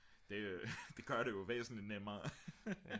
det gør det jo væsentligt nemmere